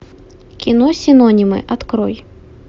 кино синонимы открой